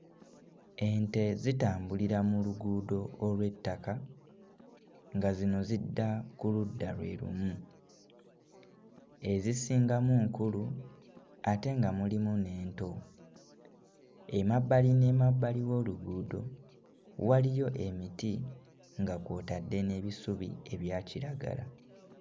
Ente zitambulira mu luguudo olw'ettaka nga zino zidda ku ludda lwe lumu, ezisingamu nkulu ate nga mulimu n'ento, emabbali n'emabbali w'oluguudo waliyo emiti nga kw'otadde n'ebisubi ebya kiragala.